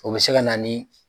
O bɛ se ka na ni.